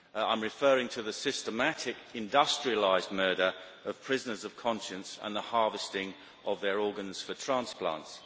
I am referring to the systematic industrialised murder of prisoners of conscience and the harvesting of their organs for transplants.